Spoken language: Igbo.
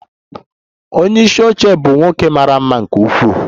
Onye isi oche bụ nwoke mara mma nke ukwuu.